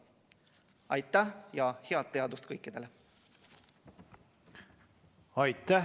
Aitäh ja head teadust kõikidele!